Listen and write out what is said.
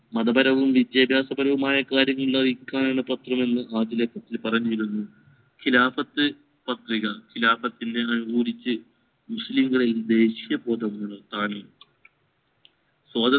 മതപരവും വിദ്യഭ്യാസപരവുമായ കാര്യങ്ങൾ പത്രമെന്ന് പറഞ്ഞിരുന്നു ഖിലാഫത് പദ്ധതികൾ ഖിലാഫത് മുസ്ലികളിൽ ദേശീയ ബോധമുണർത്താൻ